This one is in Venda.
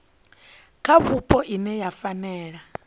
kha vhupo ine ya fanela